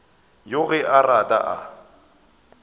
yoo ge a rata a